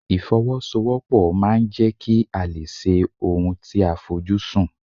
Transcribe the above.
Ìfọwọ́sowọ́pọ̀ máà ń jẹ́ kí a lè ṣe ohun tí a fojú sùn.